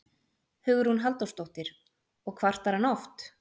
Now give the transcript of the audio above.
Hugrún Halldórsdóttir: Og kvartar hann oft?